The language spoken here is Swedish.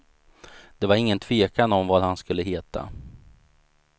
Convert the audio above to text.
Det var ingen tvekan om vad han skulle heta.